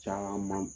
Caman